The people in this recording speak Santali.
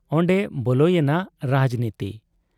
ᱚᱱᱰᱮ ᱵᱚᱞᱮᱭᱮᱱᱟ ᱨᱟᱡᱽᱱᱤᱛᱤ ᱾